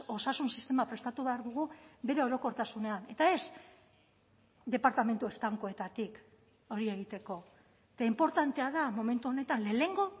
osasun sistema prestatu behar dugu bere orokortasunean eta ez departamentu estankoetatik hori egiteko eta inportantea da momentu honetan lehenengo